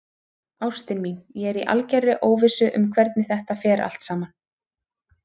Ástin mín, ég er í algerri óvissu um hvernig þetta fer allt saman.